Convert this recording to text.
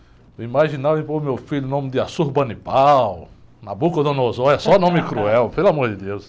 Eu imaginava em pôr meu filho o nome de Assurbanipal, Nabucodonosor, é só nome cruel, pelo amor de Deus.